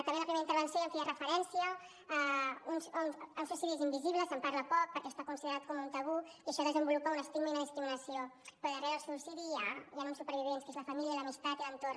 també en la primera intervenció ja feia referència a uns suïcidis invisibles se’n parla poc perquè està considerat com un tabú i això desenvolupa un estigma i una discriminació però darrere del suïcidi hi han uns supervivents que és la família l’amistat i l’entorn